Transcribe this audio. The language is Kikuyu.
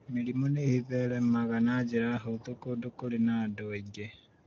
mĩrimũ nĩ ĩtheremaga na njĩra hũthũ kũndũ kũrĩ na andũ aingĩ